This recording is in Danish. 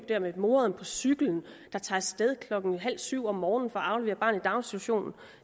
der med moderen på cykel der tager sted klokken halv syv om morgenen for at aflevere barnet i daginstitutionen